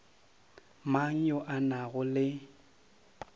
mang yo a nago le